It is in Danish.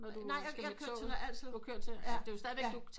Når du skal til med med toget